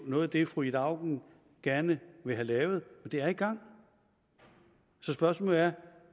noget af det fru ida auken gerne vil have lavet og det er i gang så spørgsmålet er